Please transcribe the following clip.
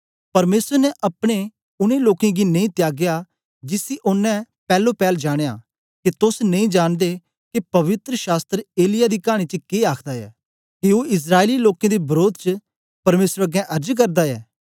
परमेसर ने अपने उनै लोकें गी नेई त्यागया जिसी ओनें पैलो पैल जानया के तोस नेई जांनदे के पवित्र शास्त्र एलिय्याह दी कानी च के आखदा ऐ के ओ इस्राएली लोकें दे वरोध च परमेसर अगें अर्ज करदा ऐ